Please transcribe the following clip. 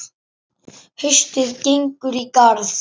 Haustið gengur í garð.